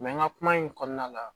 n ka kuma in kɔnɔna la